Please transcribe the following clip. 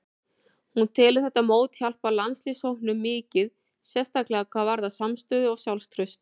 Hún telur þetta mót hjálpa landsliðshópnum mikið, sérstaklega hvað varðar samstöðu og sjálfstraust.